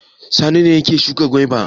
Sani ne yake shuka gwaiba.